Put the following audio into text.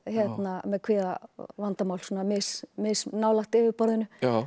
með kvíðavandamál svona mis mis nálægt yfirborðinu